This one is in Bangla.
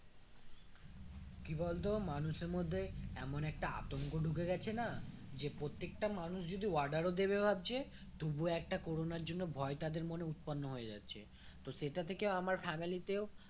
কি বলতো মানুষের মধ্যে এমন একটা আতঙ্ক ঢুকে গেছে না যে প্রত্যেকটা মানুষ যদি order ও দেবে ভাবছে তবু একটা কোরোনার জন্য ভয় তাদের মনে উৎপন্ন হয়ে যাচ্ছে তো সেটা থেকে আমার family তেও